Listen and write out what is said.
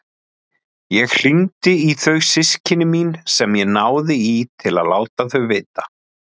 Ég hringdi í þau systkini mín sem ég náði í til að láta þau vita.